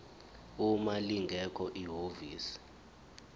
uma lingekho ihhovisi